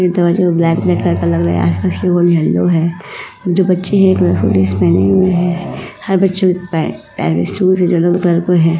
जो बच्चे हैं जो स्कूल ड्रेस पहने हुए हैं। पैंटशूज --